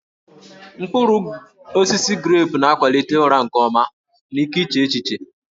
Mkpụrụ osisi grepụ na-akwalite ụra nke ọma na ike iche echiche